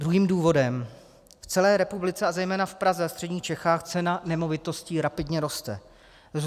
Druhým důvodem, v celé republice a zejména v Praze a středních Čechách cena nemovitostí rapidně roste.